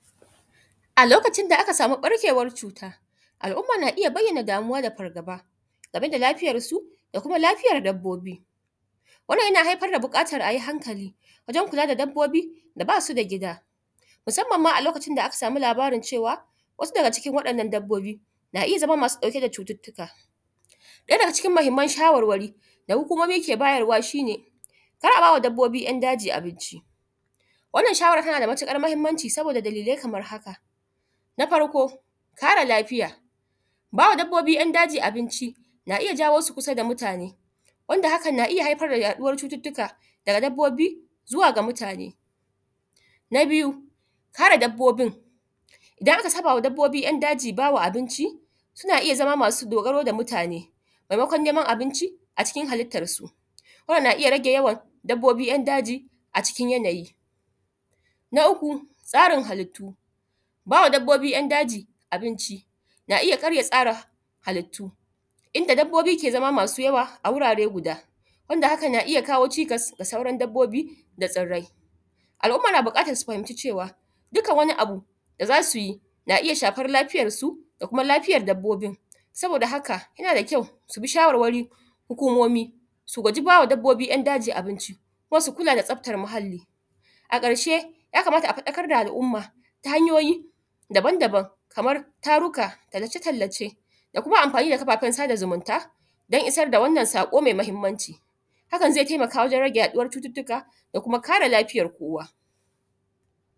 A lokacin da aka samu ɓarkewan cuta al umma na iyya bayyana fargaba akan lafiyar su dana dabbobi. Wannan yana haifar da bukatan ayi hankali wajen kula da dabbobi da basu da gida, musamman ma a lokacin da aka samu labarin cewa wasu daga cikin wannan dabbobi na iyya na iyya zama masu dauke da cututtuka. Daya daga cikin shawarwari da hukumomi ke bayarwa ana babbobi ‘yan’ daji abinci, wannan shawaran ta nada matuƙar mahimmanci sabo dalilai kaman haka. Na farko kare lafiya bawa dabbobi ‘yan’ daji na iyya kawo su kusa da mutane wanda hakan na iyya haifar da yaduwar cututtuka daga babbobi zuwa mutane. Na biyu kare dabbobi in idan aka sabama dabbobi ‘yan’ daji bawa abinci suna iyya zama abin dogaro da mutane maimakon neman abinci a cikin halittan su. Wanann na iyya rage yawan dabbobi ‘yan’ daji a cikin yanayi. Na uku tsarin halittu bawa dabbobi Yan daji abinci na iyya canza tsarin abinci inda dabbobi ke zama masu yawa a wuri guda, Hakan na iyya kawo ga sauran dabbobi da tsirrai. Al umma na buƙatan su fahimci cewa duka wani Abu da zasuyi na iyya shafar lafiyan su da lafiyar dabbobin saboda haka yana da kyau subi shawarwari hukumomi, su guji bawa dabbobi 'yan' daji abinci ko su kula da tsafta muhalli. A ƙarshe ya kamata su fadakar da al umma ta hanyoyi daban daban kamar taruka, tallace tallace, kafafen sada zumunta, dan isar da saƙo mai Mahimmanci hakan zai taimaka wajen yaɗuwar da kuma kare lafiyar kowa.